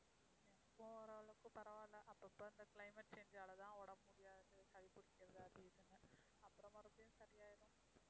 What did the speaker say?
எனக்கும் ஓரளவுக்கு பரவாயில்லை. அப்பப்ப இந்த climate change ஆல தான் உடம்பு முடியாது, சளி பிடிக்கிறது அது இதுன்னு, அப்புறம் மறுபடியும் சரியாயிடும்.